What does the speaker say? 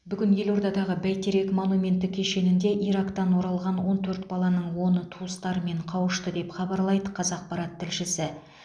бүгін елордадағы бәйтерек монументі кешенінде ирактан оралған он төрт баланың оны туыстарымен қауышты деп хабарлайды қазақпарат тілшісі